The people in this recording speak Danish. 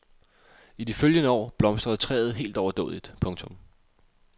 I de følgende år blomstrede træet helt overdådigt. punktum